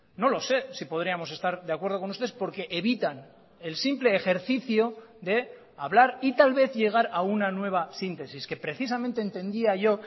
no lo sé si podríamos estar de acuerdo con ustedes porque evitan el simple ejercicio de hablar y tal vez llegar a una nueva síntesis que precisamente entendía yo